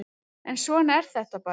En svona er þetta bara